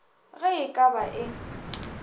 ge e ka ba e